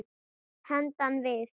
Handan við